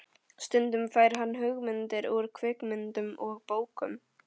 Stundum fær hann hugmyndir úr kvikmyndum og bókum.